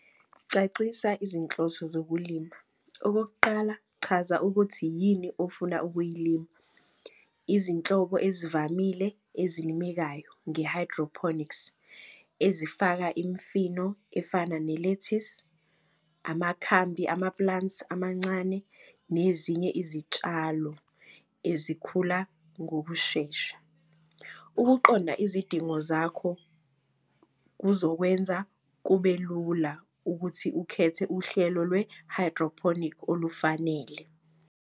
Cacisa izinhloso zokulima. Okokuqala, chaza ukuthi yini ofuna ukuyilima. Izinhlobo ezivamile ezilimekayo nge-hydroponics ezifaka imfino efana nelethisi. Amakhambi ama-plants amancane nezinye izitshalo ezikhula ngokushesha. Ukuqonda izidingo zakho kuzokwenza kube lula ukuthi ukhethe uhlelo lwe-hydroponic olufanele.